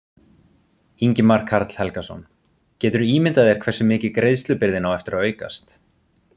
Ingimar Karl Helgason: Geturðu ímyndað þér hversu mikið greiðslubyrðin á eftir að aukast?